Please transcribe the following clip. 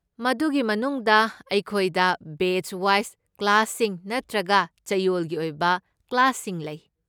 ꯃꯗꯨꯒꯤ ꯃꯅꯨꯡꯗ, ꯑꯩꯈꯣꯏꯗ ꯕꯦꯆ ꯋꯥꯏꯖ ꯀ꯭ꯂꯥꯁꯁꯤꯡ ꯅꯠꯇ꯭ꯔꯒ ꯆꯌꯣꯜꯒꯤ ꯑꯣꯏꯕ ꯀ꯭ꯂꯥꯁꯁꯤꯡ ꯂꯩ꯫